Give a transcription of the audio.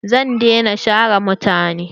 Zan dai na share mutane.